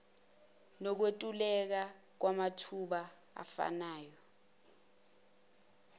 nokwentuleka kwamathuba afanayo